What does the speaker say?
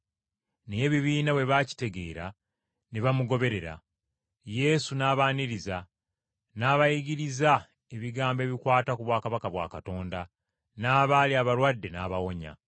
Naye ebibiina bwe baakitegeera ne kimugoberera. Yesu n’abaaniriza, n’abayigiriza ebigambo ebikwata ku bwakabaka bwa Katonda, n’abaali abalwadde n’abawonya.